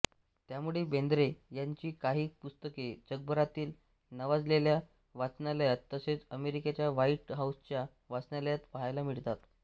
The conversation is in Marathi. त्यामुळे बेंद्रे यांची काही पुस्तके जगभरातील नावाजलेल्या वाचनालयात तसेच अमेरिकेच्या व्हाईट हाउसच्या वाचनालयात पाहायला मिळतात